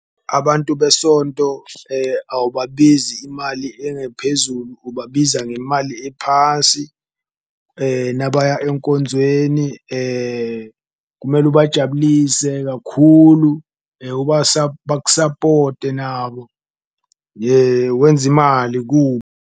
Abantu besonto awubabizi imali engaphezulu ubabiza ngemali ephasi nabayeka enkonzweni, kumele ubajabulise kakhulu, bakusapote nabo wenza imali .